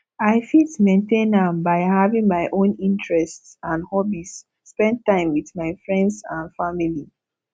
i fit maintain am by having my own interests and hobbies spend time with my friends and family